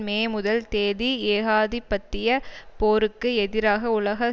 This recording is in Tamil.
மே முதல் தேதி ஏகாதிபத்திய போருக்கு எதிராக உலக